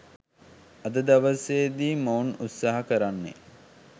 අද දවසේදි මොවුන් උත්සහ කරන්නේ